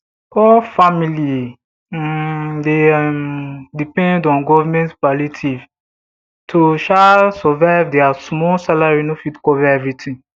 poor family um dey um depend on govt palliative to um survive dia small salary no fit cover everytin